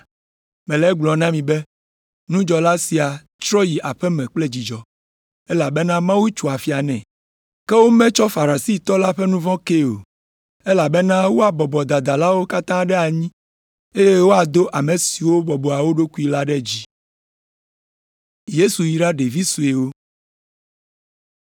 Mele egblɔm na mi be nudzɔla sia trɔ yi aƒe me kple dzidzɔ, elabena Mawu tso afia nɛ. Ke wometsɔ Farisitɔ la ƒe nu vɔ̃ kee o, elabena woabɔbɔ dadalawo katã ɖe anyi eye woado ame siwo bɔbɔa wo ɖokui la ɖe dzi.”